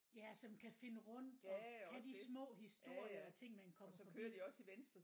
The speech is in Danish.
Ja som kan finde rundt og kan de små historier og ting man kommer forbi